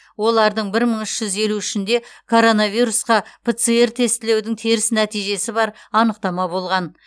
олардың бір мың үш жүз елу үшінде коронавирусқа пцр тестілеудің теріс нәтижесі бар анықтама болған